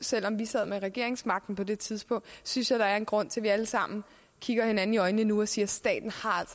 selv om vi sad med regeringsmagten på det tidspunkt synes jeg der er en grund til at vi alle sammen kigger hinanden i øjnene nu og siger staten